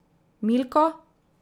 Milko?